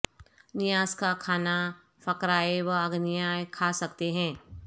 نیاز کا کھانا فقراء و اغنیاء کھا سکتے ہیں